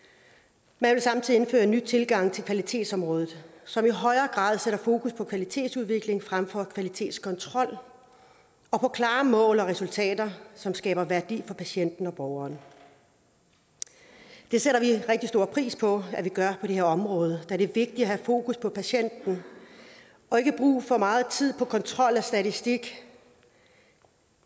man vil samtidig indføre en ny tilgang til kvalitetsområdet som i højere grad sætter fokus på kvalitetsudvikling frem for kvalitetskontrol og på klare mål og resultater som skaber værdi for patienten og borgeren det sætter vi rigtig stor pris på at vi gør på det her område da det er vigtigt at have fokus på patienten og ikke bruge for meget tid på kontrol og statistik